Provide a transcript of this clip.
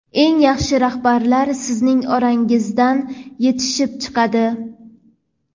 eng yaxshi rahbarlar sizning orangizdan yetishib chiqadi.